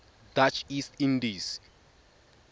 dutch east indies